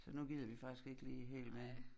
Så nu gider vi faktisk ikke lige helt mere